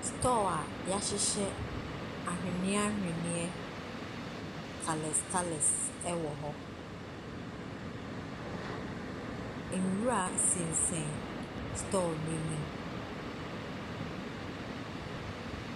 Store a yɛahyehyɛ ahweneɛ ahweneɛ colours colours wɔ hɔ. Nwura sensɛn store n’anim.